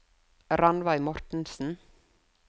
Rannveig Mortensen